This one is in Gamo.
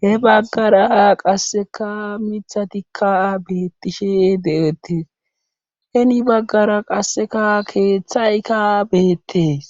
he baggara qassikka mithatikka beeththishe de7eettes heni baggara qassikka keeththayka beettes.